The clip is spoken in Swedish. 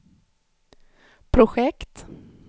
projekt